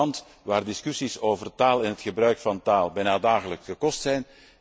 Ik kom uit een land waar discussies over taal en het gebruik van taal bijna dagelijkse kost zijn.